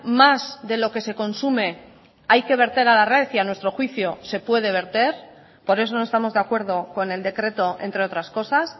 más de lo que se consume hay que verter a la red y a nuestro juicio se puede verter por eso no estamos de acuerdo con el decreto entre otras cosas